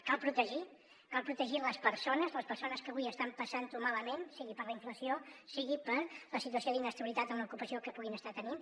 cal protegir cal protegir les persones les persones que avui estan passant ho malament sigui per la inflació sigui per la situació d’inestabilitat en l’ocupació que puguin estar tenint